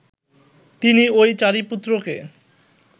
তিনি ঐ চারি পুত্রকে